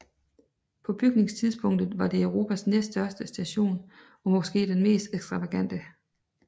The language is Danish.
På bygningstidspunktet var det Europas næststørste station og måske den mest ekstravagante